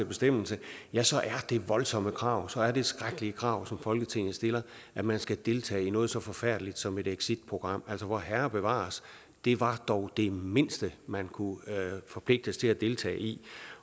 bestemmelse ja så er det voldsomme krav så er det skrækkelige krav som folketinget stiller at man skal deltage i noget så forfærdeligt som et exitprogram altså vorherre bevares det var dog det mindste man kunne forpligtes til at deltage i